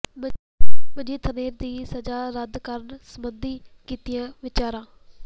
ਮਨਜੀਤ ਧਨੇਰ ਦੀ ਸਜ਼ਾ ਰੱਦ ਕਰਨ ਸਬੰਧੀ ਕੀਤੀਆਂ ਵਿਚਾਰਾਂ